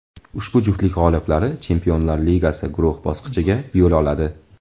Ushbu juftlik g‘oliblari Chempionlar Ligasi guruh bosqichiga yo‘l oladi.